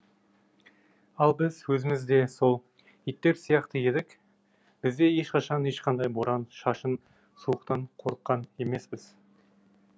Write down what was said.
ал біз өзіміз де сол иттер сияқты едік біз де ешқашан ешқандай боран шашын суықтан қорыққан емеспіз